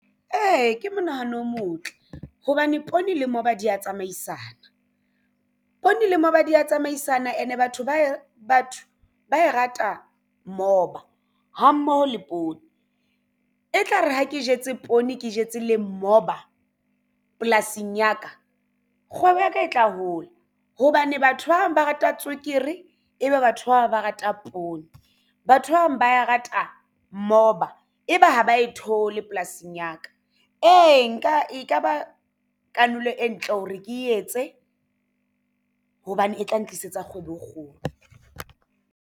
Ee, ke monahano o motle hobane poone le moba di ya tsamaisana poone le moba di ya tsamaisana and-e batho ba e rata moba ha mmoho le poone e tlare ha ke jetse poone ke jetse le moba polasing ya ka. Kgwebo ya ka e tla hola hobane batho ba bang ba rata tswekere ebe batho bang ba rata poone batho ba bang ba e rata moba ebe ha ba ko theole polasing ya ka. Ee, nka e kaba kanolo e ntle hore ke etse hobane e tla ntlisetsa kgwebo e kgolo.